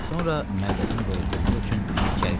Sonra mədəzini doyuzdurmaq üçün içəri keçdi.